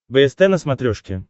бст на смотрешке